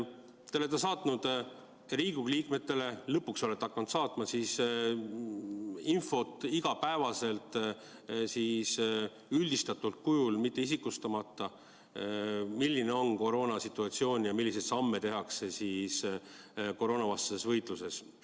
Te olete saatnud Riigikogu liikmetele – lõpuks olete hakanud saatma – infot igapäevaselt üldistatud kujul, isikustamata, milline on koroonasituatsioon ja milliseid samme tehakse koroonavastases võitluses.